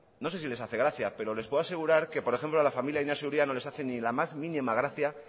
no sé si les hace gracia pero les puedo asegurar que por ejemplo a la familia de inaxio uria no les hace ni la más mínima gracia